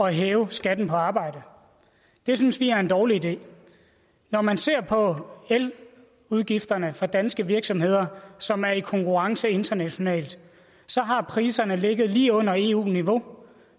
hæve skatten på arbejde det synes vi er en dårlig idé når man ser på eludgifterne for danske virksomheder som er i konkurrence internationalt så har priserne ligget lige under eu niveau